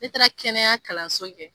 Ne taara kɛnɛya kalanso kɛ.